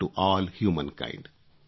to all humankind